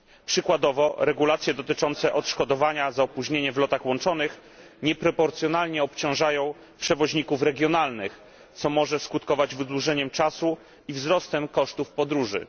Przykładowo regulacje dotyczące odszkodowania za opóźnienie w lotach łączonych nieproporcjonalnie obciążają przewoźników regionalnych, co może skutkować wydłużeniem czasu i wzrostem kosztów podróży.